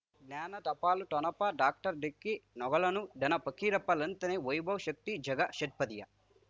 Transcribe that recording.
ಜ್ಞಾನ ಟಪಾಲು ಠೊಣಪ ಡಾಕ್ಟರ್ ಢಿಕ್ಕಿ ಣಗಳನು ಧನ ಫಕೀರಪ್ಪ ಳಂತಾನೆ ವೈಭವ್ ಶಕ್ತಿ ಝಗಾ ಷಟ್ಪದಿಯ